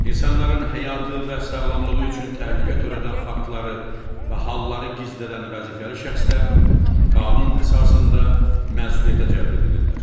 İnsanların həyatı və sağlamlığı üçün təhlükə törədən faktları və halları gizlədən vəzifəli şəxslər qanun əsasında məsuliyyətə cəlb edilirlər.